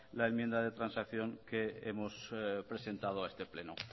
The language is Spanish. la enmienda de transacción que hemos presentado a este pleno